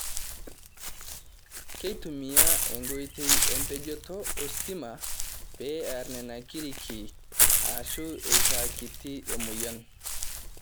Keitumiya enkoitoi empojoto ositima pee eer nena kiriki aashu eitaa kiti emoyian.